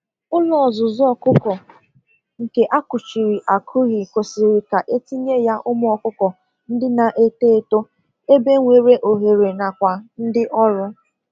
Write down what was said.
Ụlọ ọzụzụ ọkụkọ nke akụchiri akuhi kwesịrị ka etinye ya ụmụ ọkụkọ ndị na eto eto ebe nwere ohere n'akwa ndị ọrụ